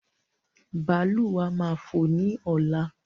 Bàálù wa máa fò ní ọ̀la